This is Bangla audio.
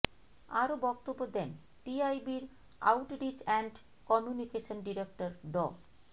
আরো বক্তব্য দেন টিআইবির আউটরিচ অ্যান্ড কমিউনিকেশন ডিরেক্টর ড